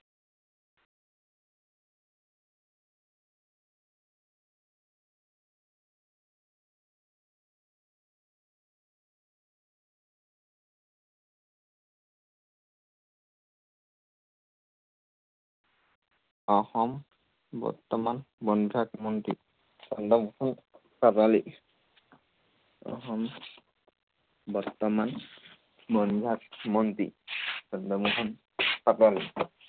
অসম, বৰ্তমান বন বিভাগ মন্ত্ৰী চন্দ্ৰমোহন পাটোৱাৰী। অসম বৰ্তমান বন বিভাগ মন্ত্ৰী চন্দ্ৰমোহন পাটোৱাৰী।